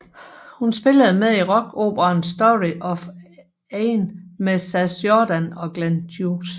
Hun spillede med i rockoperaen Story of Aina med Sass Jordan og Glenn Hughes